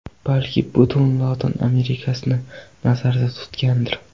Balki butun Lotin Amerikasini nazarda tutgandir.